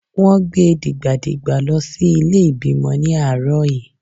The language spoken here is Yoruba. Wón gbe dìgbà dìgbà lọ sí ilé ìbímọ ní àárọ̀ yí.